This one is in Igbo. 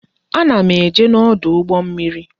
A na m eje n'ọdụ ụgbọ mmiri